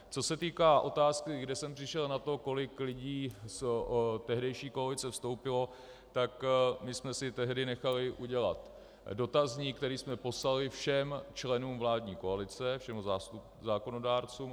Co se týká otázky, kde jsem přišel na to, kolik lidí z tehdejší koalice vstoupilo, tak my jsme si tehdy nechali udělat dotazník, který jsme poslali všem členům vládní koalice, všem zákonodárcům.